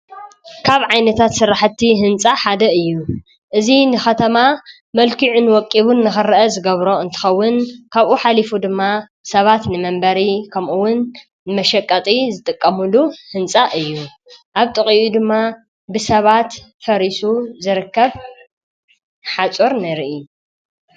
ካብ ዓይነታት ሠራሕቲ ሕንፃ ሓደ እዩ እዙ ንኸተማ መልኪዕ ን ወቂቡን ነኸርአ ዝገብሮ እንተኸውን ካብኡ ኃሊፉ ድማ ሰባት ንመንበሪ ከምኡውን መሸቃጢ ዝጥቀሙሉ ሕንጻ እዩ ኣብ ጥቓኡ ድማ ብሰባት ፈሪሱ ዘረከብ ሓፆር ነርኢ።